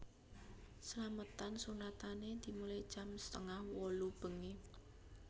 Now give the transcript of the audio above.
Slametan sunatane dimulai jam setengah wolu bengi